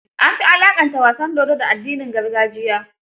An fi alaqanta wasan dodo, da addinin gargajiya.